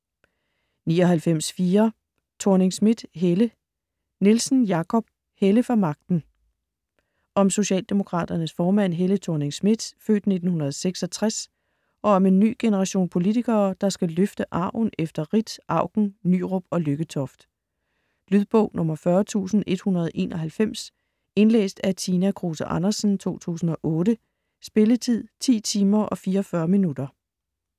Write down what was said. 99.4 Thorning-Schmidt, Helle Nielsen, Jakob: Helle for magten Om socialdemokraternes formand Helle Thorning-Schmidt (f. 1966) og om en ny generation politikere, der skal løfte arven efter Ritt, Auken, Nyrup og Lykketoft. Lydbog 40191 Indlæst af Tina Kruse Andersen, 2008. Spilletid: 10 timer, 44 minutter.